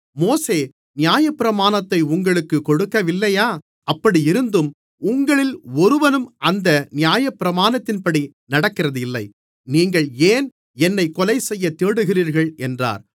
மோசே நியாயப்பிரமாணத்தை உங்களுக்குக் கொடுக்கவில்லையா அப்படியிருந்தும் உங்களில் ஒருவனும் அந்த நியாயப்பிரமாணத்தின்படி நடக்கிறதில்லை நீங்கள் ஏன் என்னைக் கொலைசெய்யத் தேடுகிறீர்கள் என்றார்